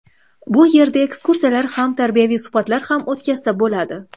Bu yerda ekskursiyalar ham, tarbiyaviy suhbatlar ham o‘tkazsa bo‘ladi.